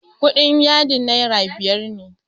kudin yadin naira biyar ne